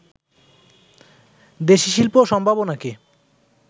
দেশি শিল্প সম্ভাবনাকে